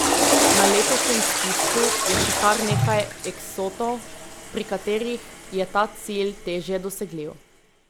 Na letošnjem spisku je še kar nekaj eksotov, pri katerih je ta cilj težje dosegljiv.